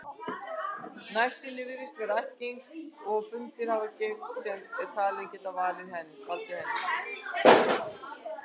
Nærsýni virðist vera ættgeng og fundist hafa gen sem eru talin geta valdið henni.